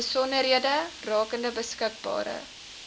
besonderhede rakende beskikbare